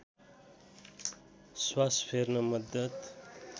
श्वास फेर्न मद्दत